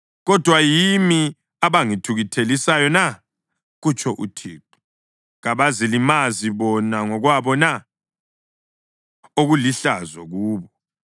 Kodwa yimi abangithukuthelisayo na? kutsho uThixo. Kabazilimazi bona ngokwabo na, okulihlazo kubo?